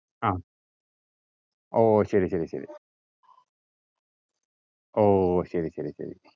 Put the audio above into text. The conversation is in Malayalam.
ആഹ് ഓ ശരി ശരി. ഓ ശരി ശരി ശരി